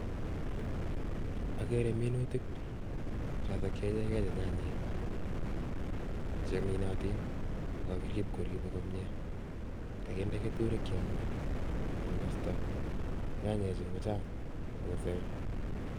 Ageere minutik chotok che ichekei che nyanyek cheminatin ako kakirip koriipok komnye, kakinde keturek cheyome koye kastoi. Nyanyechu kochang akose.